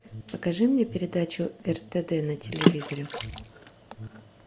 покажи мне передачу ртд на телевизоре